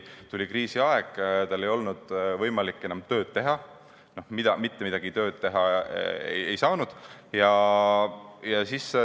Tuli kriisiaeg, tal ei olnud võimalik enam töötada, mitte midagi teha ei saanud.